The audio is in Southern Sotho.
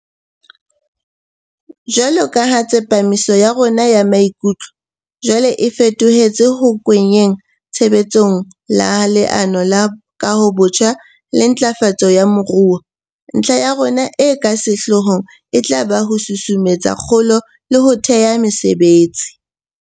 Jwaloka ha tsepamiso ya rona ya maikutlo jwale e feto hetse ho kenngweng tshebe tsong ha Leano la Kahobotjha le Ntlafatso ya Moruo, ntlha ya rona e ka sehloohong e tla ba ho susumetsa kgolo le ho thea mesebetsi.